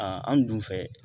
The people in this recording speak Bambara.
Aa anw dun fɛ